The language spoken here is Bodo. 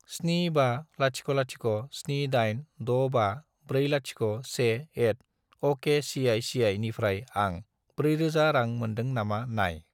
75007865401@okcici निफ्राय आं 4000 रां मोन्दों नामा नाय।